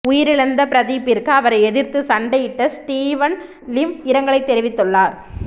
உயிரிழந்த பிரதீப்பிற்கு அவரை எதிர்த்து சண்டையிட்ட ஸ்டீவன் லிம் இரங்கல் தெரிவித்துள்ளார்